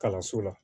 Kalanso la